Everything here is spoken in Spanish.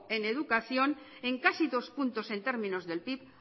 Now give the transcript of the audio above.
en educación en casi dos puntos en términos del pib